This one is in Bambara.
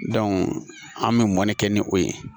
an bɛ mɔni kɛ ni o ye